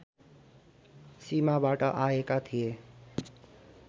सीमाबाट आएका थिए